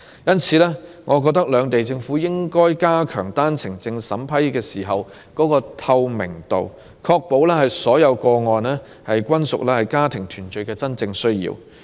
因此，我認為兩地政府應加強單程證審批工作的透明度，確保所有個案均屬家庭團聚的真正需要。